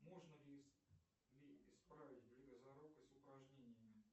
можно ли исправить близорукость упражнениями